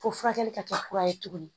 Fo furakɛli ka kɛ kura ye tuguni